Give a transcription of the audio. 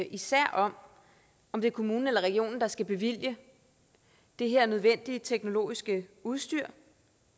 især om om det er kommunen eller regionen der skal bevilge det her nødvendige teknologiske udstyr